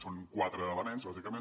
són quatre elements bàsicament